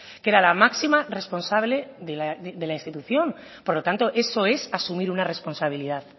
que era la máxima responsable de la institución por lo tanto eso es asumir una responsabilidad